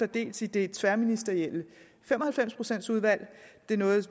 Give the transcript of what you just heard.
dels i det tværministerielle fem og halvfems procent udvalg det er noget